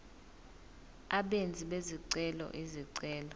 abenzi bezicelo izicelo